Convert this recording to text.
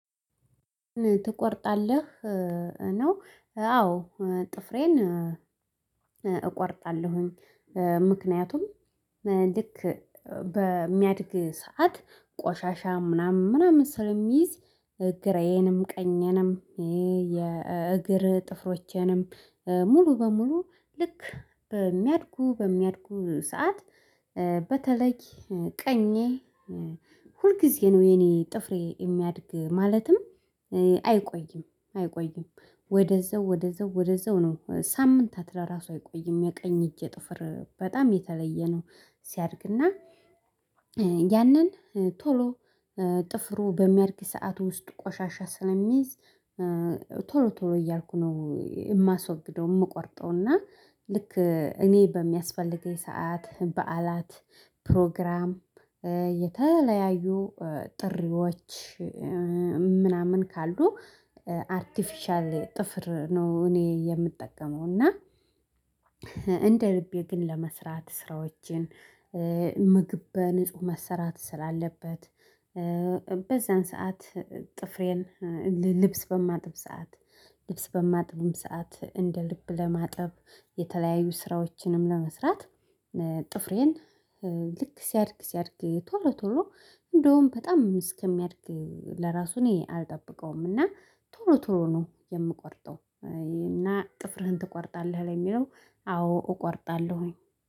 "ትቆርጣለህ ነው?" አዎ ጥፍሬን እቆርጣለሁኝ ምክንያቱም ልክ በሚያድግ ሰዓት ቆሻሻ ምናምን ምናምን ስለሚይዝ ግራዬንም ቀኜንም የእግር ጥፍሮቼንም ሙሉ በሙሉ ልክ በሚያድጉ በሚያድጉ ሰዓት በተለይ ቀኜ ሁልጊዜ ነው የኔ ጥፍሬ የሚያድግ ማለትም አይቆይም አይቆይም። ወደዛው ወደዛው ወደዛው ነው ሳምንታት ለራሱ አይቆይም የቀኝ እጄ ጥፍር በጣም የተለየ ነው ሲያድግና ያንን ቶሎ ጥፍሩ በሚያድግ ሰዓት ውስጡ ቆሻሻ ስለሚይዝ ቶሎ ቶሎ እያልኩ ነው የማስወግደው የምቆርጠው እና ልክ እኔ በሚያስፈልገኝ ሰዓት በዓላት፣ ፕሮግራም፣ የተለያዩ ጥሪዎች፣ ምናምን ካሉ አርቴፊሻል ጥፍር ነው እኔ የምጠቀመው እና እንደልቤ ልቤ ግን ለመስራት ስራዎችን ምግብ በንጹህ መሰራት ስላለበት በዛን ሰዓት ጥፍሬን ልልብስ በማጥብ ሰዓት ልብስ በማጥብም ሰዓት እንደ ልብ ለማጠብ የተለያዩ ስራዎችንም ለመስራት ጥፍሬን ልክ ሲያድግ ሲያድግ ቶሎ ቶሎ እንደውም በጣም እስከሚያድግ ለራሱ እኔ አልጠብቀውም፤ እና ቶሎ ቶሎ ነው የምቆርጠው እና ጥፍርህን ትቆርጣለህ ለሚለው አዎ እቆርጣለሁኝ።